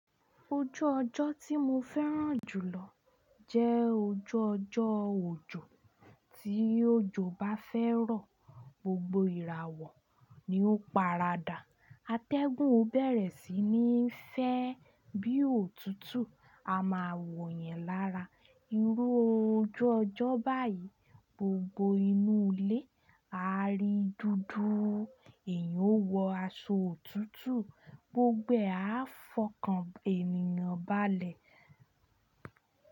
Ojú ọjọ́ tí mo fẹ́ràn jùlọ jẹ́ ojú ọjọ́ òjò. Tí òjò bá fẹ́ rọ, gbogbo ìràwọ̀ ni ó paradà. Atẹ́gùn ó bẹ̀rẹ̀ sí ní fẹ́ bí òtútù. A máa wò yẹn lára. Irú ojú ọjọ́ báyìí, gbogbo inú ilé á rí dúdú. Ẹ̀yin ó wọ aṣọ òtútù, gbogbo ẹ á fọkàn ènìyàn balẹ̀.